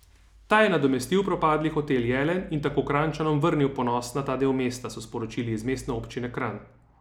Ta je nadomestil propadli Hotel Jelen in tako Kranjčanom vrnil ponos na ta del mesta, so sporočili iz mestne občine Kranj.